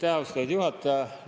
Aitäh, austatud juhataja!